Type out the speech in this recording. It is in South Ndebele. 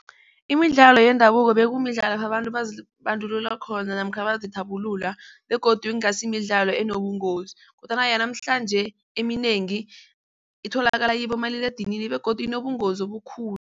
Imidlalo yendabuko bekumidlalo abantu bazibandulula khona namkha bazithabulula begodu ingasi imidlalo enobungozi kodwana yanamhlanje eminengi itholakala kibomaliledinini begodu inobungozi obukhulu.